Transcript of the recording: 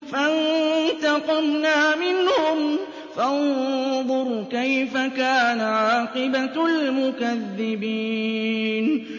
فَانتَقَمْنَا مِنْهُمْ ۖ فَانظُرْ كَيْفَ كَانَ عَاقِبَةُ الْمُكَذِّبِينَ